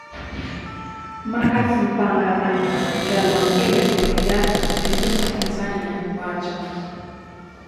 Markus Mpangala, jalony e weche siasa e piny Tanzania wacho.